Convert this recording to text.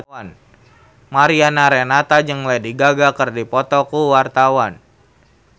Mariana Renata jeung Lady Gaga keur dipoto ku wartawan